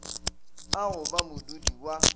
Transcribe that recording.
a go ba modudi wa